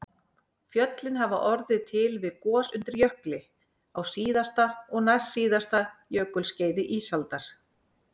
Fjöllin hafa orðið til við gos undir jökli á síðasta og næstsíðasta jökulskeiði ísaldar